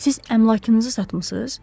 Siz əmlakınızı satmısız?